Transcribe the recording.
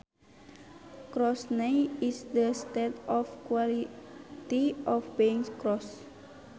Crossness is the state or quality of being cross